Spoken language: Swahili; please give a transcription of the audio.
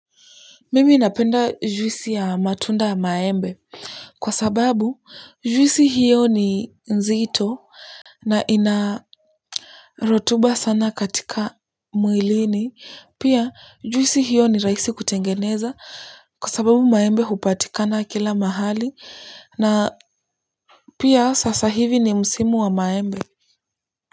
Mimi inapenda juisi ya matunda ya maembe kwa sababu juisi hiyo ni nzito na inarotuba sana katika mwilini. Pia juisi hiyo ni rahisi kutengeneza kwa sababu maembe upatikana kila mahali na pia sasa hivi ni msimu wa maembe.